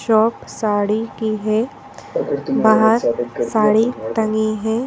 Shop sari की है बाहर साड़ी टंगी है।